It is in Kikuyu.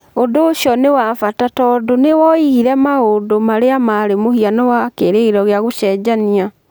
Ũndũ ũcio nĩ wa bata tondũ nĩ woigire maũndũ marĩa marĩ mũhiano wa kĩĩrĩgĩrĩro gĩa gũcenjiana.